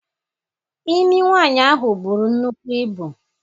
Imi nwaanyị ahụ buru nnukwu ibu.